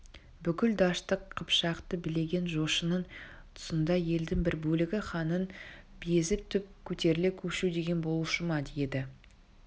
бүкіл дәшті қыпшақты билеген жошының тұсында елдің бір бөлігі ханнан безіп түп көтеріле көшу деген болушы ма еді